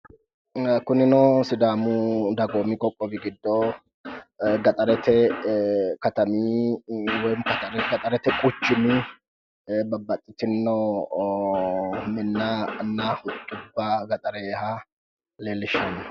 Kunino sidaamu dagoomi qoqqowi giddo gaxarete katami woyi gaxarete quchumi babbaxxitinno minnanna gaxareeha leellishshanno.